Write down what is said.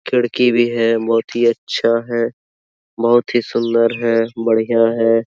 खिड़की भी ही बहुत ही अच्छा है बहुत ही सुन्दर है बढियाँ है।